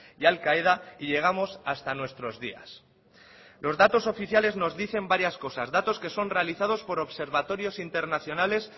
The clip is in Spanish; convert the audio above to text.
y al qaeda y llegamos hasta nuestros días los datos oficiales nos dicen varias cosas datos que son realizados por observatorios internacionales